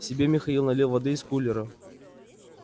себе михаил налил воды из кулера